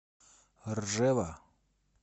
ржева